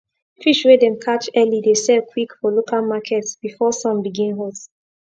fish wey dem catch early dey sell quick for local market before sun begin hot